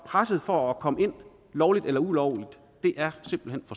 presset for at komme ind lovligt eller ulovligt er simpelt